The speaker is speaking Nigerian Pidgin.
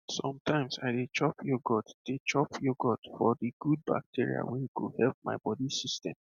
sometimes i dey chop yoghurt dey chop yoghurt for the good bacteria wey go help my body system